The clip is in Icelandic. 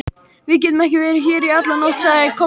Við getum ekki verið hér í alla nótt, sagði Kobbi.